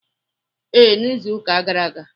Ee, n'izuụka gara aga.